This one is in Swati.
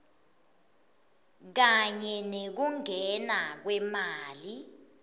kanye nekungena kwemali